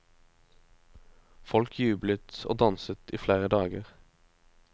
Folk jublet og danset i flere dager.